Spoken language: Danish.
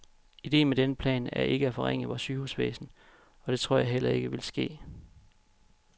Idéen med denne plan er ikke at forringe vort sygehusvæsen, og det tror jeg heller ikke, vil ske.